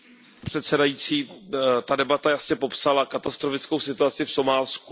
Pane předsedající, ta debata jasně popsala katastrofickou situaci v Somálsku.